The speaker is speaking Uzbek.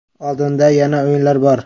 Oldinda yana o‘yinlar bor.